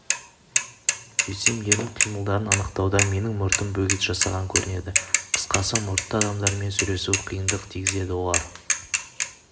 сөйтсем ерін қимылдарын анықтауда менің мұртым бөгет жасаған көрінеді қысқасы мұртты адамдармен сөйлесу қиындық тигізеді олар